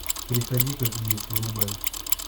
приходи как есть врубай